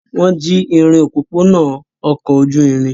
Wọ́n jí irin òpópónà ọkọ̀ ojú irin?